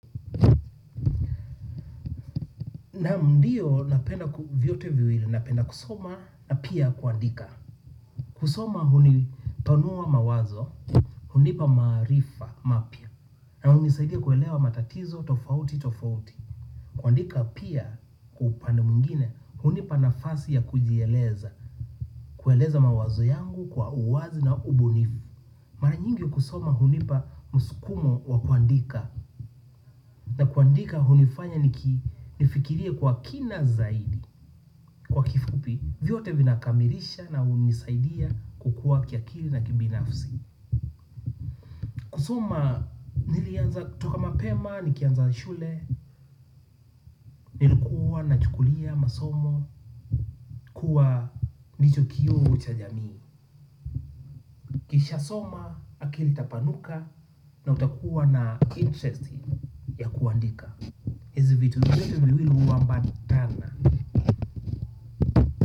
Naam ndiyo napenda viyote viwili, napenda kusoma na pia kuandika. Kusoma huni panuwa mawazo, hunipa maarifa mapya. Na huni saidia kuelewa matatizo, tofauti, tofauti. Kuandika pia upande mwingine, hunipa nafasi ya kujieleza. Kueleza mawazo yangu kwa uwazi na ubunifu. Mara nyingi kusoma hunipa muskumo wa kuandika. Na kuandika hunifanya niki nifikirie kwa kina zaidi. Kwa kifupi, viyote vinakamirisha na unisaidia kukua kiakili na kibinafsi. Kusoma, nilianza kutoka mapema, nikianza shule, nilikuwa, nachukulia, masomo, kuwa ndicho kiu cha jamii. Kisha soma, akili itapanuka na utakuwa na interesti ya kuandika. Hezi vitu viwili uambatana.